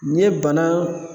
N'i ye bana